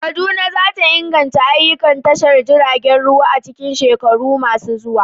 Kaduna za ta inganta ayyukan tashar jiragen ruwa a cikin shekaru masu zuwa.